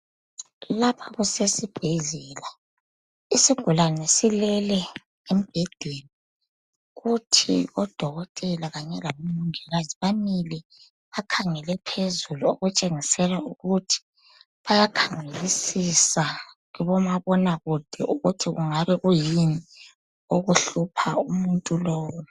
Lapha kusesibhedlela isigulani silele embhedeni kuthi odokotela kanye labo mongikazi bamile bakhengele phezulu okutshengisela ukuthi bayaxhayisisa kuboma bonakude ukuthi kungabe kuyini okuhlupha umuntu lowu